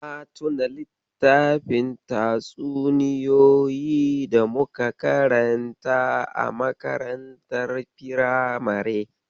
Na tuna littafin tatsuniyoyi da muka karanta a makarantar firamare.